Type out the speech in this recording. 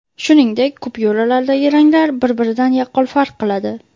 Shuningdek, kupyuralardagi ranglar bir-biridan yaqqol farq qiladi.